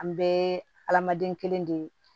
An bɛɛ ye hadamaden kelen de ye